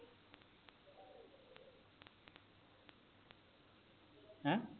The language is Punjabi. ਹੈਂ